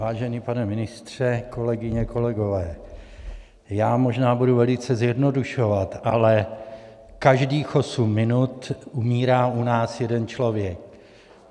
Vážený pane ministře, kolegyně, kolegové, já možná budu velice zjednodušovat, ale každých osm minut umírá u nás jeden člověk.